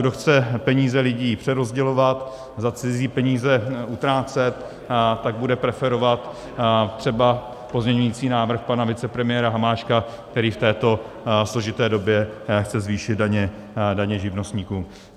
Kdo chce peníze lidí přerozdělovat, za cizí peníze utrácet, tak bude preferovat třeba pozměňovací návrh pana vicepremiéra Hamáčka, který v této složité době chce zvýšit daně živnostníkům.